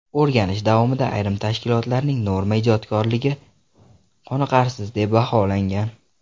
O‘rganish davomida ayrim tashkilotlarning norma ijodkorligi qoriqarsiz deb baholangan.